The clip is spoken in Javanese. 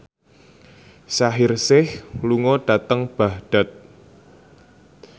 Shaheer Sheikh lunga dhateng Baghdad